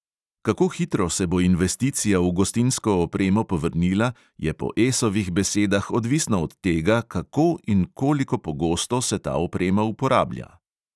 Kako hitro se bo investicija v gostinsko opremo povrnila, je po esovih besedah odvisno od tega, kako in koliko pogosto se ta oprema uporablja.